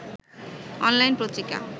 online Patrika